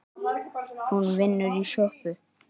Hún vinnur í sjoppu